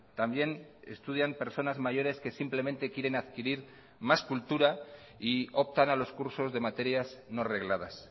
también estudian personas mayores que simplemente quieren adquirir más cultura y optan a los cursos de materias no regladas